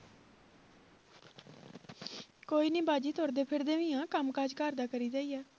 ਕੋਈ ਨੀ ਬਾਜੀ ਤੁਰਦੇ ਫਿਰਦੇ ਵੀ ਹਾਂ, ਕੰਮ ਕਾਜ ਘਰ ਦਾ ਕਰੀਦਾ ਹੀ ਆ।